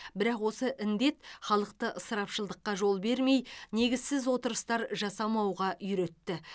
бірақ осы індет халықты ысырапшылдыққа жол бермей негізсіз отырыстар жасамауға үйретті